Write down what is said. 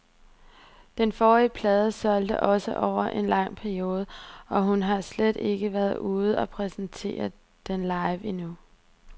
Den forrige plade solgte også over en lang periode, og hun har slet ikke været ude og præsentere den live endnu.